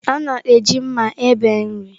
A na-eji mma ebe nri.